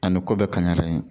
Ani ko bɛɛ kaɲara yen